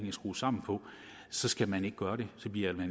er skruet sammen på så skal man ikke gøre det det bliver det